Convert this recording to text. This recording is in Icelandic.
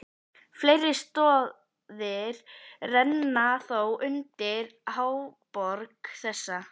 Fleiri stoðir renna þó undir háborg þessa.